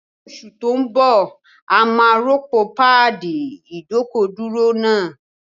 Ní oṣù tó ń bọ̀, a máa rọ́pò páàdì ìdọ́kọ̀dúró náà